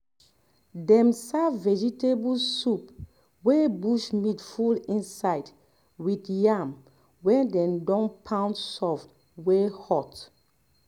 dem serve vegetable soup wey bush meat full inside with yam wey dey don pound soft wey hot